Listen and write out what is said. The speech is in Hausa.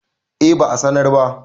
eh ba a sanar ba